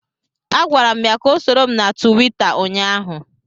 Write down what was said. Agwara m ya ka ọ soro m na Tuweeta ụnyaahụ